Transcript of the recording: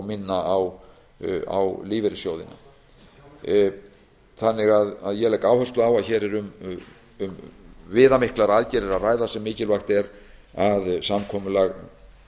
minna á lífeyrissjóðina ég legg áherslu á að hér er um viðamiklar aðgerðir að ræða sem mikilvægt er að samkomulag